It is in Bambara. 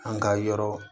An ka yɔrɔ